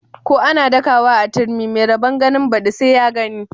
Ko ana dakawa a turmi mai rabon ganin badi sai ya gani.